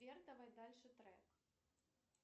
сбер давай дальше трек